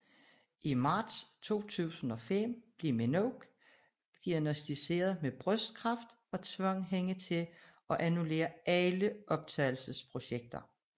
I marts 2005 blev Minogue diagnosticeret med brystkræft og tvang hende til at annullere alle optagelse projekter